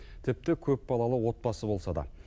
тіпті көпбалалы отбасы болса да